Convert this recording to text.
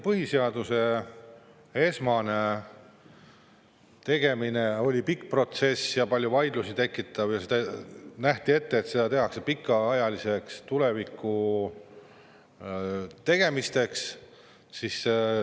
Põhiseaduse esmane tegemine oli pikk protsess, see tekitas palju vaidlusi ja nähti ette, et seda tehakse pikaks ajaks, tulevikuks.